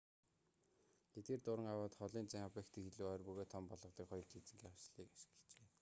эдгээр дуран авайд холын зайн объектыг илүү ойр бөгөөд том болгодог хоёр линзийн хослолыг ашиглажээ